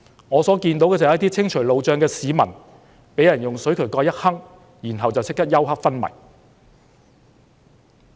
我看到的"私了"，是一些清除路障的市民被人用水渠蓋襲擊，然後即時休克昏迷。